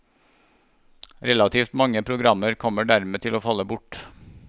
Relativt mange programmer kommer dermed til å falle bort.